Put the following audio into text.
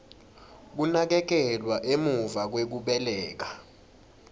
kunakekelwa emuva kwekubeleka